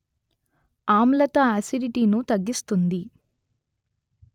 ఆమ్లత acidity ను తగ్గిస్తుంది